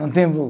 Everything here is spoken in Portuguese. Não tem